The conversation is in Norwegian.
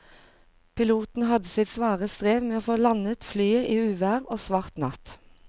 Piloten hadde sitt svare strev med å få landet flyet i uvær og svart natt.